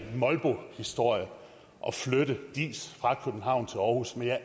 molbohistorie at flytte diis fra københavn til aarhus men jeg